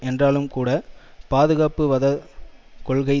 என்றாலும்கூட பாதுகாப்புவாதக் கொள்கை